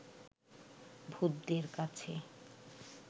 ভূতদের কাছে